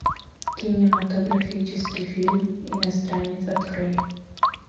кинематографический фильм иностранец открой